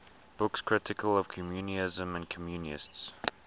books critical of communism and communists